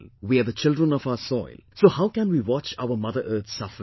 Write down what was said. We are the children of our soil, so how can we watch our Mother Earth suffering